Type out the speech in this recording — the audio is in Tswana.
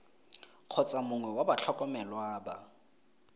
kgotsa mongwe wa batlhokomelwa ba